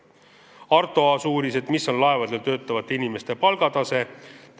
Arto Aas uuris, mis on laevadel töötavate inimeste palgatase.